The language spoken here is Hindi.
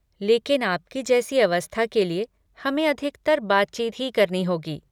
लेकिन आपकी जैसी अवस्था के लिए हमें अधिकतर बातचीत ही करनी होगी।